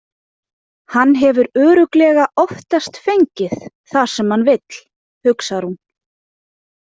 Hann hefur örugglega oftast fengið það sem hann vill, hugsar hún.